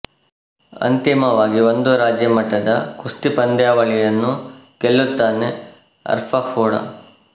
ಅಂತಿಮವಾಗಿ ಒಂದು ರಾಜ್ಯ ಮಟ್ಟದ ಕುಸ್ತಿ ಪಂದ್ಯಾವಳಿಯನ್ನು ಗೆಲ್ಲುತ್ತಾನೆ ಆರ್ಫ಼ಾ ಕೂಡ